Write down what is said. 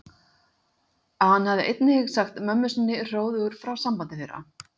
Hann hafði einnig sagt mömmu sinni hróðugur frá sambandi þeirra